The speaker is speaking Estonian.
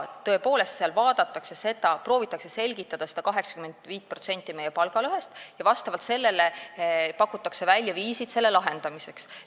Tõepoolest, seal proovitakse selgitada 85% meie palgalõhest ja pakutakse välja viisid selle probleemi lahendamiseks.